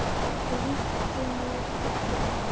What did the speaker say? Flýtti mér í burtu.